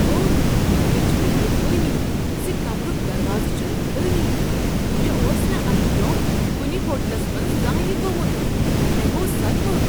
اوہ، مےٚ چھنہٕ بہوانی ز کمرُک دروازٕ چھٖنہٕ ہلانٕے۔ مےٚ اوس نہٕ امہ برٛونٛہہ کنہ ہوٹلس منٛز زانٛہہ یہ گوٚومت۔ مےٚ گو صدمہٕ ۔